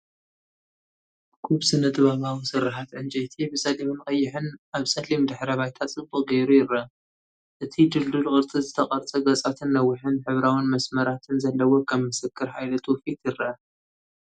እኩብ ስነ-ጥበባዊ ስርሓት ዕንጨይቲ ብጸሊምን ቀይሕን ኣብ ጸሊም ድሕረ ባይታ ጽቡቕ ጌሩ ይርአ። እቲ ድልዱል ቅርጺ ዝተቐርጸ ገጻትን ነዊሕን ሕብራዊን መስመራትን ዘለዎ ከም ምስክር ሓይሊ ትውፊት ይረአ።